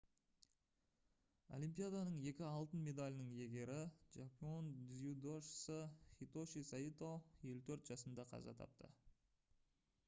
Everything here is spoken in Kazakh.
олимпияданың екі алтын медалінің иегері жапон дзюдошысы хитоши сайто 54 жасында қаза тапты